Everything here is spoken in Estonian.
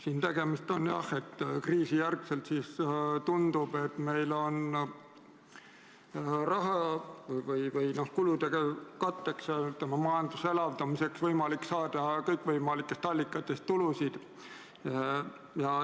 Siin on tegemist jah sellega, et kriisijärgselt tundub, et meil on kulude katteks, majanduse elavdamiseks võimalik saada kõikvõimalikest allikatest tulusid.